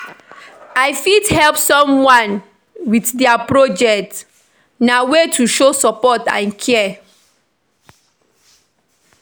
I fit help someone with dia project; na way to show support and care.